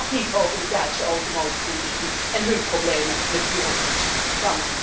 Dit gaat niet over de Duitse automobielindustrie en hun problemen met bureaucratie!